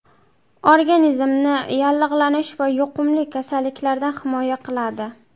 Organizmni yallig‘lanish va yuqumli kasalliklardan himoya qiladi.